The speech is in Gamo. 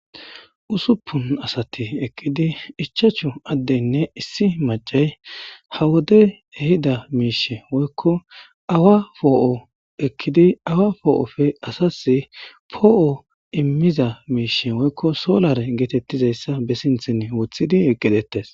Ussupunni asati eqqidinne ichachchu adeyinne issi macati ha wodeyi ehida mishshi woyikko awaa po'o ekkid awaa po'oppe asas po'o immizza mishshi woyikko solare getettizayissa be sinththenni woththidi eqqi detees